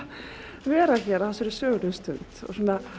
vera hér á þessari sögulegu stund á